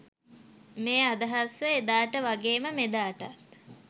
මේ අදහස එදාට වගේම මෙදාටත්